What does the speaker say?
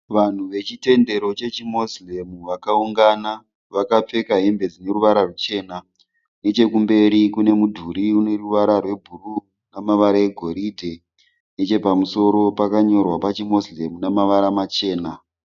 Vanhu vechitendero chechiMoslem vakaungana. Vakapfeka hembe dzine ruvara ruchena. Nechekumberi kune mudhuri une ruvara rwebhuru namavara egoridhe. Nechepamusoro pakanyorwa pachiMoslem namavara machena.